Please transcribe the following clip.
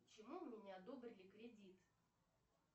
почему мне не одобрили кредит